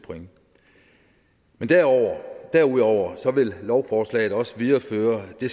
men derudover derudover vil lovforslaget også videreføre det